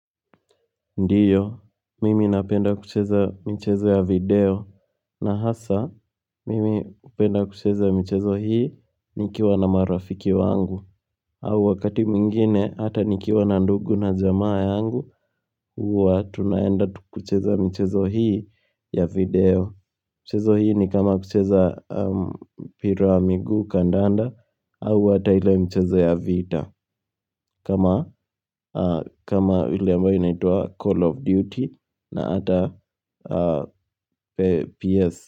Ndiyo, mimi napenda kucheza mchezo ya video na hasa mimi napenda kucheza mchezo hii nikiwa na marafiki wangu au wakati mwingine hata nikiwa na ndugu na jamaa yangu huwa tunaenda kucheza michezo hii ya video Mchezo hii ni kama kucheza mpira wa miguu kandanda au hata hile mchezo ya vita kama ile ambayo inaitwa Call of Duty na ata PS.